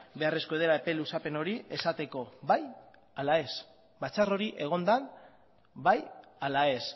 beharrezkoa dela epe luzapen hori esateko bai ala ez batzar hori egon den bai ala ez